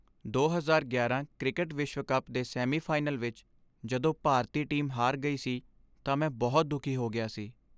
ਦੋ ਹਜ਼ਾਰ ਗਿਆਰਾਂ ਕ੍ਰਿਕਟ ਵਿਸ਼ਵ ਕੱਪ ਦੇ ਸੈਮੀਫਾਈਨਲ ਵਿੱਚ ਜਦੋਂ ਭਾਰਤੀ ਟੀਮ ਹਾਰ ਗਈ ਸੀ ਤਾਂ ਮੈਂ ਬਹੁਤ ਦੁਖੀ ਹੋ ਗਿਆ ਸੀ